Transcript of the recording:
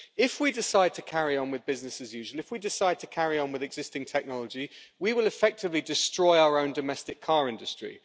If we decide to carry on with business as usual, if we decide to carry on with existing technology, we will effectively destroy our own domestic car industry.